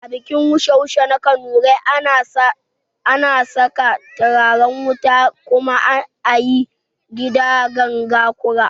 A bikin wushe wushe na kanurai, ana saka turaren wuta kuma ayi kiɗan ganga kura